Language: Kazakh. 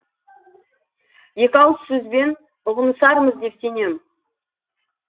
екі ауыз сөзбен ұғынысармыз деп сенем